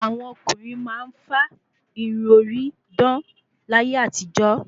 Àwọn ọkùnrin máa ń fá Irun orí dán láyé àtijọ́